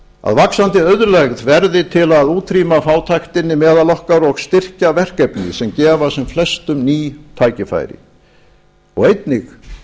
að vaxandi auðlegð verði til að útrýma fátæktinni meðal okkar og styrkja verkefni sem gefa sem flestum ný tækifæri og einnig